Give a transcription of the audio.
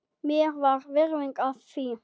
Mér var virðing af því.